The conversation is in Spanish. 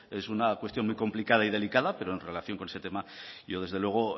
es una cuestión muy complicada y delicada pero en relación con ese tema yo desde luego